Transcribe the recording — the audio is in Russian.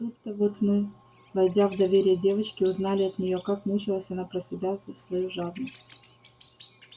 тут-то вот мы войдя в доверие девочки узнали от неё как мучилась она про себя за свою жадность